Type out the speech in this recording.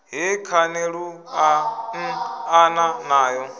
he khani lu anḓana nayo